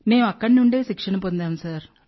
మేం అక్కడి నుండి శిక్షణ పొందాం సార్